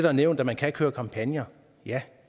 har nævnt at man kan køre kampagner ja